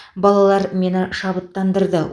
балалар мені шабыттандырды